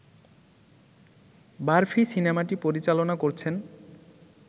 বারফি সিনেমাটি পরিচালনা করছেন